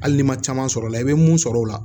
Hali n'i ma caman sɔrɔ o la i bɛ mun sɔrɔ o la